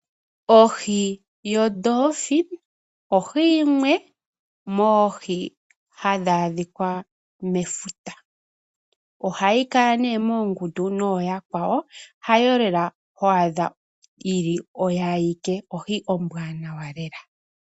Ohi yoDolphi ohi yimwe moohi hadhi adhika mefuta. Ohayi kala ne moongundu noyakwawo hayo lela hwaadha yili oyo ayike ohi ombwaanawa lela.